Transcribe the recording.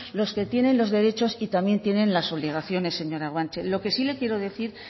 los que tienen los derechos y también tienen las obligaciones señora guanche lo que sí le quiero decir